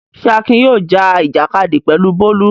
Ṣé Akin yóò já ìjàkadì pẹ̀lú Bólú?